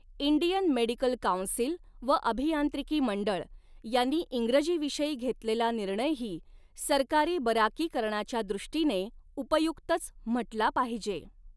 Indian medical council व अभियांत्रिकी मंडळ यांनी इंग्रजीविषयी घेतलेला निर्णयही सरकारी बराकीकरणाच्या दृष्टीने उपयुक्तच म्हटला पाहिजे.